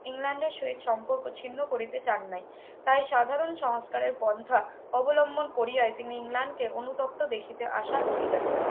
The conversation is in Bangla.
ইংল্যান্ডের সহিত সম্পর্ক ছিন্ন করিতে চান নাই তাই সাধারণ সংস্কারের পন্থা অবলম্বন করিয়াই তিনি ইংল্যান্ডকে অনুতপ্ত দেখিতে আশা করিলেন